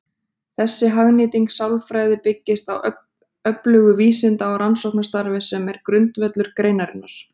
Þessi hagnýting sálfræði byggist á öflugu vísinda- og rannsóknarstarfi sem er grundvöllur greinarinnar.